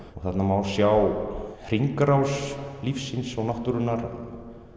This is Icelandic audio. þarna má sjá hringrás lífsins og náttúrunnar